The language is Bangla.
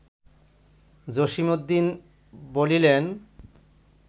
জসীমউদ্দীন বলিলেন